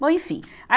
Bom, enfim. a